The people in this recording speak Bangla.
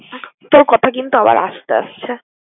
তোর কথা কিন্তু আবার আস্তে আসছে।